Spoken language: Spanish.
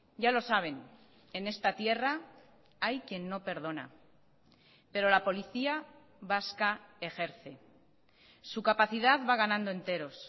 ya lo saben en esta tierra hay quien no perdona pero la policía vasca ejerce su capacidad va ganando enteros